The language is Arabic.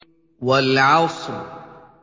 وَالْعَصْرِ